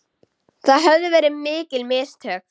Það höfðu verið mikil mistök.